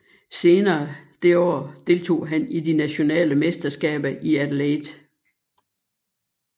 Senere det år deltog han i de nationale mesterskaber i Adelaide